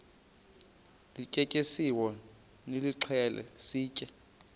lityetyisiweyo nilixhele sitye